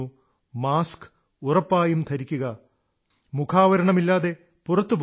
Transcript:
mask ഉറപ്പായും വയ്ക്കുക മുഖാവരണമില്ലാതെ പുറത്തുപോകരുത്